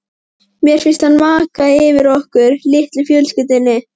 Mér finnst hann vaka yfir okkur, litlu fjölskyldunni.